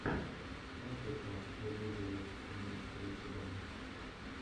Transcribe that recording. музыка элизавет имеется ли у тебя